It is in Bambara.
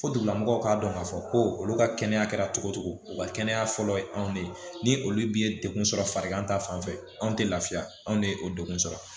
Fo dugulamɔgɔw k'a dɔn k'a fɔ ko olu ka kɛnɛya kɛra cogo o cogo u ka kɛnɛya fɔlɔ ye anw de ye ni olu bɛ ye degun sɔrɔ farigan ta fan fɛ anw tɛ lafiya anw de ye o degun sɔrɔ